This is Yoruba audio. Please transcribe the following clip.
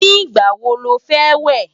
ní igbà wò ló fé wẹ?